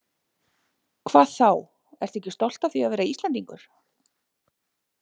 Hvað þá, ertu ekki stolt af því að vera Íslendingur?